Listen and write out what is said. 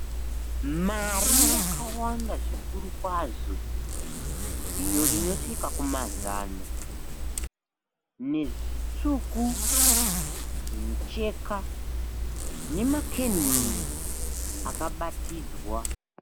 Mari yakawanda zvikuru kwazvo iyo inosvika kuma zana, nezvitsvuku zvimucheka, nemakenduru akabatidzwa.